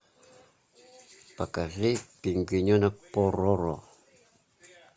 покажи пингвиненок пороро